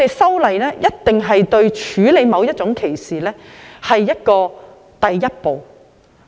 修例只是處理某種歧視的第一步。